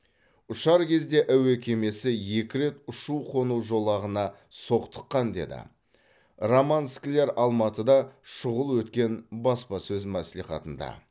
ұшар кезде әуе кемесі екі рет ұшу қону жолағына соқтыққан деді роман скляр алматыда шұғыл өткен баспасөз мәслихатында